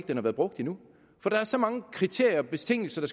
den har været brugt endnu der er så mange kriterier og betingelser